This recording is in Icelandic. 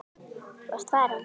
Þú ert farin.